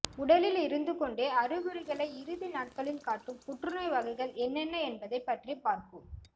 உடலில் இருந்து கொண்டே அறிகுறிகளை இறுதி நாட்களில் காட்டும் புற்றுநோய் வகைகள் என்னென்ன என்பதை பற்றி பார்ப்போம்